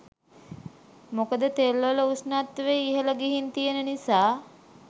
මොකද තෙල්වල උෂ්ණත්වය ඉහළ ගිහින් තියෙන නිසා.